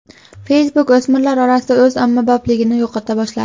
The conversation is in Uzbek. Facebook o‘smirlar orasida o‘z ommabopligini yo‘qota boshladi.